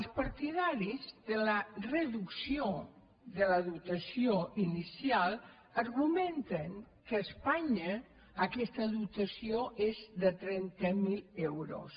els partidaris de la reducció de la dotació inicial ar·gumenten que a espanya aquesta dotació és de trenta mil euros